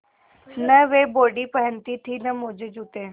न वे बॉडी पहनती थी न मोजेजूते